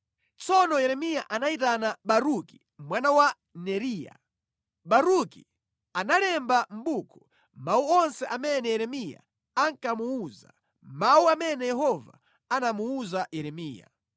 Tsono Yeremiya anayitana Baruki mwana wa Neriya. Baruki analemba mʼbuku mawu onse amene Yeremiya ankamuwuza, mawu amene Yehova anamuwuza Yeremiya.